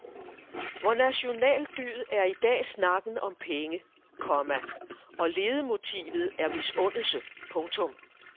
Vor nationaldyd er i dag snakken om penge, komma og ledemotivet er misundelse. punktum